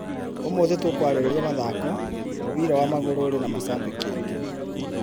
ũmũthĩ tũkĩarĩrĩria mathako, mũbira wa magũrũ ũrĩ na macambĩki aingĩ.